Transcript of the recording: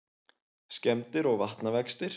Skemmdir og vatnavextir